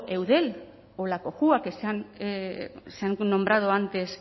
eudel o la cojua que se han nombrado antes